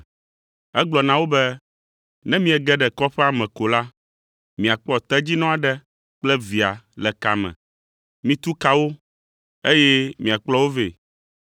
Egblɔ na wo be, “Ne miege ɖe kɔƒea me ko la, miakpɔ tedzinɔ aɖe kple via le ka me. Mitu ka wo, eye miakplɔ wo vɛ.